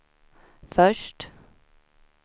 först